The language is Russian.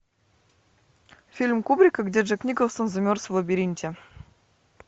фильм кубрика где джек николсон замерз в лабиринте